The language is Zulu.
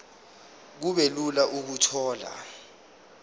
kube lula ukuthola